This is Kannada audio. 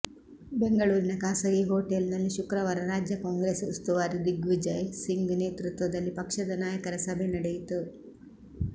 ಬೆಂಗಳೂರಿನ ಖಾಸಗಿ ಹೋಟೆಲ್ ನಲ್ಲಿ ಶುಕ್ರವಾರ ರಾಜ್ಯ ಕಾಂಗ್ರೆಸ್ ಉಸ್ತುವಾರಿ ದಿಗ್ವಜಯ್ ಸಿಂಗ್ ನೇತೃತ್ವದಲ್ಲಿ ಪಕ್ಷದ ನಾಯಕರ ಸಭೆ ನಡೆಯಿತು